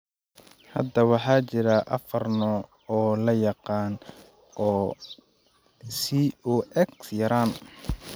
Hadda waxa jira afaar nooc oo la yaqaan oo COX yaraan.